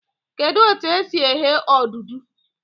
Kedụ etu e si eghe odudu?